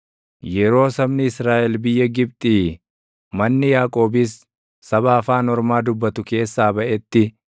Yeroo sabni Israaʼel biyya Gibxii, manni Yaaqoobis saba afaan ormaa dubbatu keessaa baʼetti,